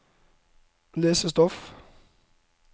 lesestoff